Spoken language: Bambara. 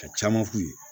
Ka caman k'u ye